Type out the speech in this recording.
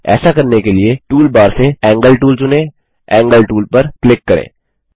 ऐसा करने के लिए टूल बार से एंगल टूल चुनें एंगल टूल पर क्लिक करें